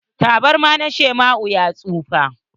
Tabarma na shawa'n ya tsufa.